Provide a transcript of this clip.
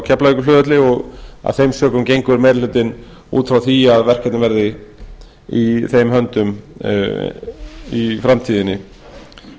keflavíkurflugvelli af þessum sökum gengur meiri hlutinn út frá því að verkefnið verði í höndum lögreglunnar